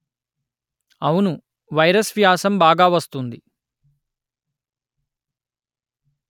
అవును వైరస్ వ్యాసం బాగా వస్తుంది